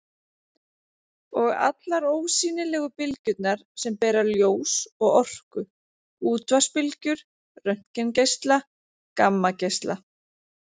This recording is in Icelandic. Og allar ósýnilegu bylgjurnar sem bera ljós og orku: útvarpsbylgjur, röntgengeisla, gammageisla.